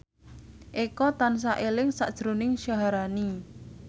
Eko tansah eling sakjroning Syaharani